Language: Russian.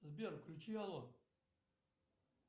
сбер включи алло